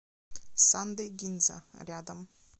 сандэй гинза рядом